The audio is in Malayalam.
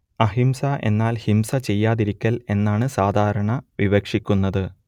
അഹിംസ എന്നാൽ ഹിംസ ചെയ്യാതിരിക്കൽ എന്നാണ് സാധാരണ വിവക്ഷിക്കുന്നത്